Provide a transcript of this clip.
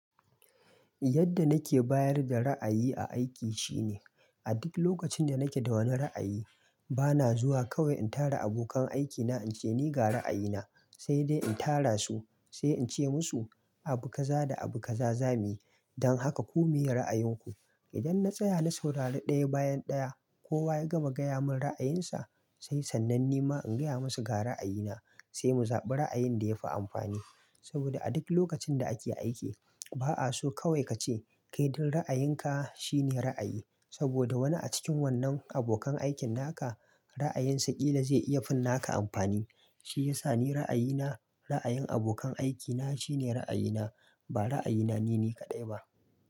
Yadda nake bayar da ra'ayi a aiki shine, a duk lokacin da nake da wani ra'ayi, bana zuwa kawai in tara abokan aikina in ce ni ga ra'ayina, sai dai in tara su sai in ce musu abu kaza da abu kaza zamuyi, don haka ku miye ra'ayinku. Idan na tsaya na saurari ɗaya bayan ɗaya, kowa ya gama gaya mun ra'ayinsa, sai sannan ni ma in gaya musu ga ra'ayina, sai mu zaɓi ra'ayin da ya fi amfani. Saboda a duk lokacin da ake aiki, ba'a so kawai kace, "kai duk ra'ayinka shine ra'ayi", saboda wani a cikin wannan abokan aikin naka ra'ayinsa ƙila zai iya fin naka amfani. Shi yasa ni ra'ayina, ra'ayin abokan aikina shine ra'ayina, ba ra'ayina nine kaɗai ba.